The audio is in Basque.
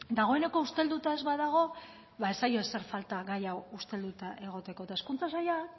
dagoeneko ustelduta ez baldin badago ba ez zaio ezer falta gai hau ustelduta egoteko eta hezkuntza saila